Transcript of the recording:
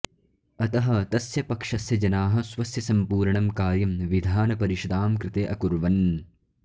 अतः तस्य पक्षस्य जनाः स्वस्य सम्पूर्णं कार्यं विधानपरिषदां कृते अकुर्वन्